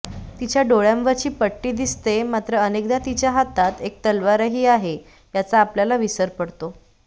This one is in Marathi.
तिच्या डोळयांवरची पट्टी दिसते मात्र अनेकदा तिच्या हातात एक तलवारही आहे याचा आपल्याला विसर पडतो